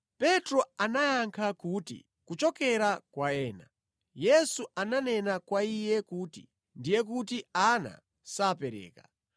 Petro anayankha kuti, “Kuchokera kwa ena.” Yesu ananena kwa iye kuti, “Ndiye kuti ana sapereka.”